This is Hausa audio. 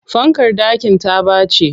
Fankar ɗakin ta ɓaci.